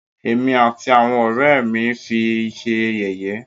Ẹ̀mí àti àwọn ọ̀rẹ́ ẹ́ mí fi ṣé yẹ̀yẹ́.